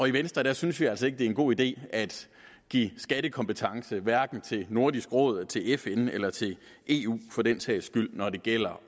i venstre synes vi altså ikke det er en god idé at give skattekompetence til nordisk råd til fn eller til eu for den sags skyld når det gælder